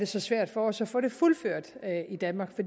så svært for os at få det fuldført i danmark for